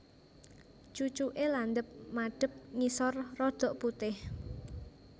Cucuke landhep madhep ngisor rada putih